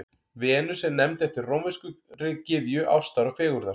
Venus er nefnd eftir rómverskri gyðju ástar og fegurðar.